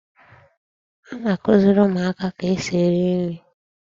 A na-kụziri ụmụaka ka esi esi nri.